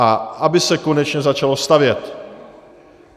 A aby se konečně začalo stavět.